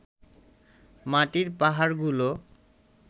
মাটির পাহাড়গুলো